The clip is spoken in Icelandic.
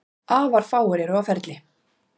Afar fáir eru á ferli